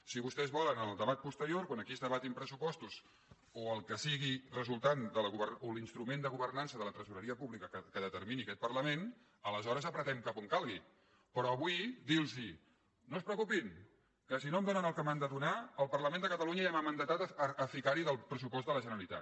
si vostès volen en el debat posterior quan aquí es debatin pressupostos o l’instrument de governança de la tresoreria pública que determini aquest parlament aleshores apretem cap a on calgui però avui dir los no es preocupin que si no em donen el que m’han de donar el parlament de catalunya ja m’ha mandatat a ficar hi del pressupost de la generalitat